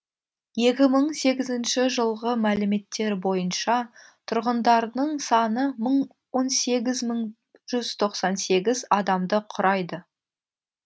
екі мың сегізінші жылғы мәліметтер бойынша тұрғындарының саны он сегіз мың жүз тоқсан сегіз адамды құрайды